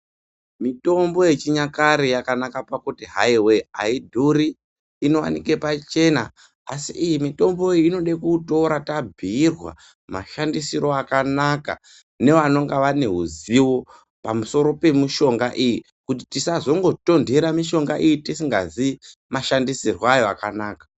Mitombo yechinyakare yakanaka pakuti hai voye haidhuri inovanika pachena. Asi iyi mitombo inode kutora tabhuirwa mashandisiro akanaka nevanonga vane huzivo pamusoro pemishonga iyi. Kuti tisazongotonhera mishonga iyi tisingazii mashandisirwo ayo akanaka.